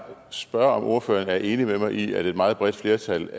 spørge om ordføreren er enig med mig i at et meget bredt flertal